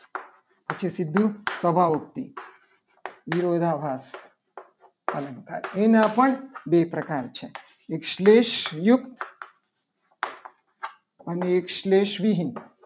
પછી સીધું સભ્ય યુક્તિ વિરોધાભાસ અલંકાર એના પણ બે પ્રકાર છે. એક શ્લેષયુક્ત અને એક શ્લેષ વિહીન